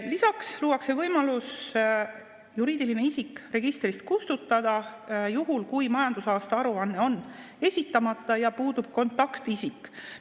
Lisaks luuakse võimalus juriidiline isik registrist kustutada, juhul kui majandusaasta aruanne on esitamata ja puudub kontaktisik.